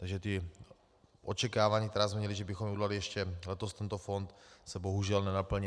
Takže ta očekávání, která jsme měli, že bychom udělali ještě letos tento fond, se bohužel nenaplní.